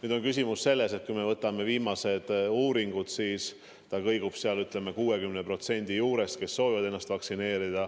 Aga jah, küsimus on selles, et kui me võtame viimased uuringud, siis nende hulk, kes soovivad lasta ennast vaktsineerida, kõigub 60% ümber.